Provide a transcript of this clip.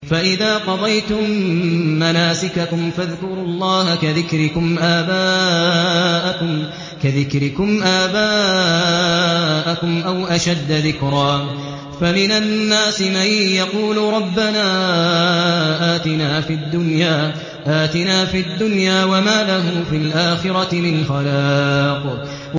فَإِذَا قَضَيْتُم مَّنَاسِكَكُمْ فَاذْكُرُوا اللَّهَ كَذِكْرِكُمْ آبَاءَكُمْ أَوْ أَشَدَّ ذِكْرًا ۗ فَمِنَ النَّاسِ مَن يَقُولُ رَبَّنَا آتِنَا فِي الدُّنْيَا وَمَا لَهُ فِي الْآخِرَةِ مِنْ خَلَاقٍ